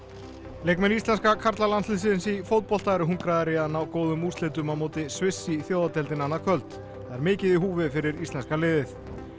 leikmenn íslenska karlalandsiðsins í fótbolta eru hungraðir í að ná góðum úrslitum á móti Sviss í Þjóðadeildinni annað kvöld það er mikið í húfi fyrir íslenska liðið